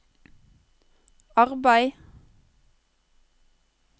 arbeid